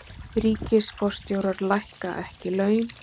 Ríkisforstjórar lækka ekki laun